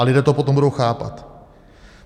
A lidé to potom budou chápat.